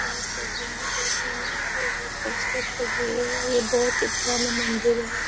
हम इस तस्वीर मे देख रहे हैं। ये बहुत खूबसूरत तस्वीर है। ये बहुत ही पुराना मंदिर है।